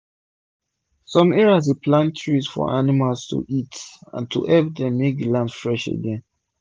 som area dey plant trees for animals to eat and to hep dem make the land fresh again